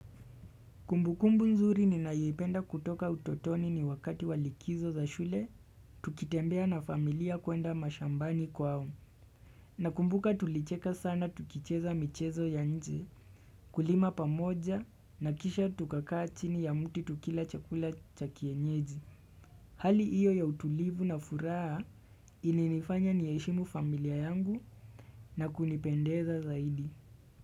Kumbu kumbu nzuri ninayoipenda kutoka utotoni ni wakati walikizo za shule, tukitembea na familia kuenda mashambani kwao. Na kumbuka tulicheka sana tukicheza michezo ya nje, kulima pamoja na kisha tukakaa chini ya mti tukila chakula cha kienyeji. Hali iyo ya utulivu na furaha ilinifanya niheshimu familia yangu na kunipendeza zaidi.